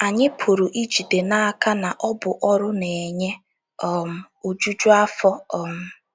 Anyị pụrụ ijide n'aka na ọ bụ ọrụ na-enye um ojuju afọ um.